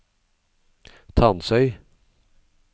Tansøy